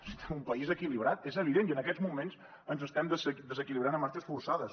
necessitem un país equilibrat és evident i en aquests moments ens estem desequilibrant a marxes forçades